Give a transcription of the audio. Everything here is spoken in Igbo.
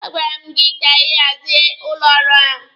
A gwara m gị ka ị hazie ụlọ ọrụ ahụ!